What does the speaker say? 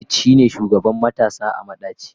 Khalid shine shugaban matasa a madaci.